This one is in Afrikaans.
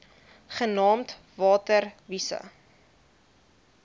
genaamd water wise